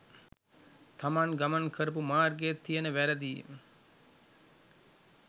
තමන් ගමන් කරපු මාර්ගෙ තියෙන වැරදියි